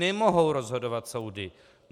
Nemohou rozhodovat soudy!